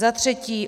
Za třetí.